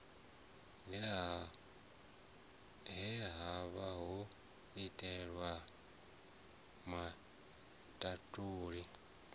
he havha ho itelwavho matambule